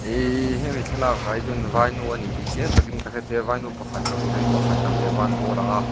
hemi thlalak ah hi chuan vainu a ni tih chiang takin ka hre thei a vainu pakhat chauh ni loin pakhat dang leh a ban pawh a lang a.